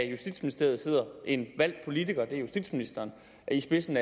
justitsministeriet sidder en valgt politiker det er justitsministeren og i spidsen